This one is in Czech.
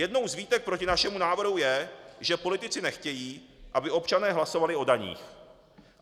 Jednou z výtek proti našemu návrhu je, že politici nechtějí, aby občané hlasovali o daních.